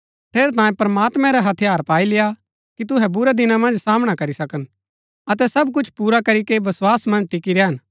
ठेरैतांये प्रमात्मैं रै हथियार पाई लेय्आ कि तुहै बुरै दिना मन्ज सामना करी सकन अतै सब कुछ पुरा करीके वस्‍वास मन्ज टिकी रैहन